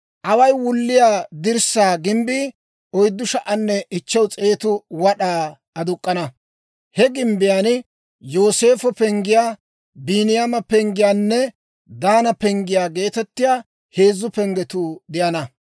Away wulliyaa dirssaa gimbbii 4,500 wad'aa aduk'k'ana; he gimbbiyaan Yooseefo penggiyaa, Biiniyaama penggiyaanne Daana penggiyaa geetettiyaa heezzu penggetuu de'ana.